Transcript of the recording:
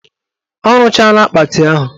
Ọ rụchara akpati ahụ